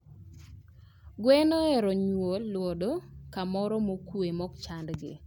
Gwen ohero mar nyuolodo kamoro mokuwe maok chand gi.